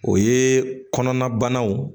O ye kɔnɔna banaw